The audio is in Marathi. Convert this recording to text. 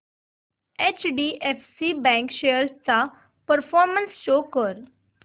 एचडीएफसी बँक शेअर्स चा परफॉर्मन्स शो कर